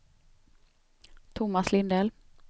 Tomas Lindell